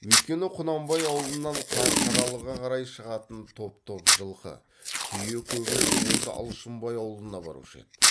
өйткені құнанбай аулынан қарқаралыға қарай шығатын топ топ жылқы түйе көбінше осы алшынбай аулына барушы еді